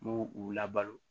N b'u u labalo